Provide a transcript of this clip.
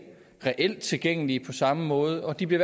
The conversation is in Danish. reelt er tilgængelige på samme måde og de bliver